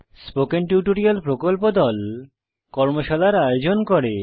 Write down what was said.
spoken tutorial প্রকল্প দল কর্মশালার আয়োজন করে